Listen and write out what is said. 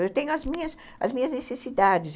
Eu tenho as minhas necessidades.